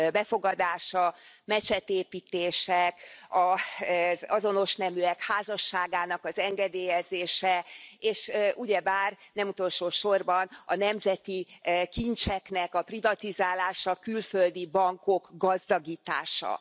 befogadása, mecsetépítések, az azonos neműek házasságának engedélyezése, és ugyebár nem utolsósorban a nemzeti kincseknek a privatizálása, a külföldi bankok gazdagítása.